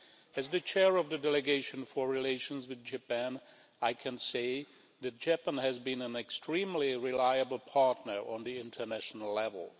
As the Chair of the Delegation for relations with Japan, I can say that Japan has been an extremely reliable partner on the international level.